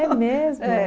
mesmo? É